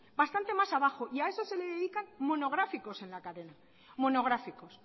bastante más abajo y a eso se dedican monográficos en la cadena monográficos